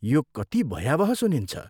यो कति भयावह सुनिन्छ।